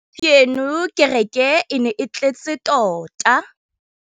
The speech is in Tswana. Gompieno kêrêkê e ne e tletse tota.